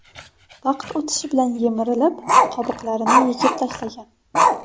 Vaqt o‘tishi bilan yemirilib, qobiqlarini yechib tashlagan.